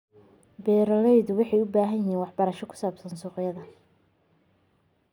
Beeraleydu waxay u baahan yihiin waxbarasho ku saabsan suuqyada.